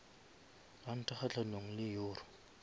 ranta kgahlanong le euro